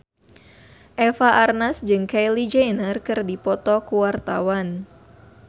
Eva Arnaz jeung Kylie Jenner keur dipoto ku wartawan